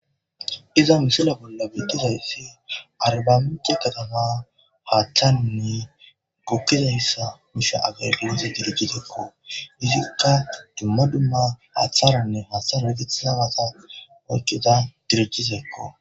Iza misile bolla beeththizayssi arbbamincce kathamaa haaththani goggizayssa miishsha hagee geetheththeesikoo; izikka dumma dumma haaththaaranne haaththaara gayththidabatha oykkida dirjjithekkoo.